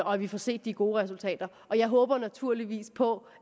og at vi får set de gode resultater og jeg håber naturligvis på